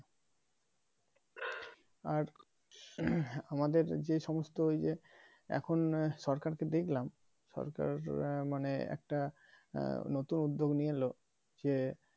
আর আমাদের যে সমস্ত ওই যে এখন সরকারকে দেখলাম সরকার মানে নতুন একটা উদ্যোগ নিয়ে এলো যে